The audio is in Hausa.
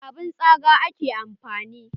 Da abun tsaga ake amfani da.